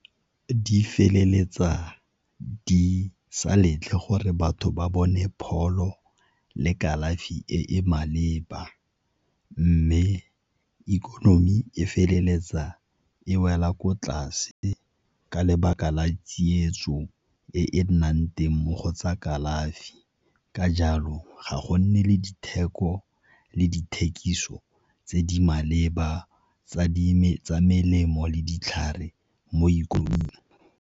Di feleletsa di sa letle gore batho ba bone pholo le kalafi e e maleba mme ikonomi e feleletsa e wela ko tlase ka lebaka la tsietso e e nnang teng mo go tsa kalafi. Ka jalo ga go nne le ditheko le dithekiso tse di maleba tsa melemo le ditlhare mo ikonoming.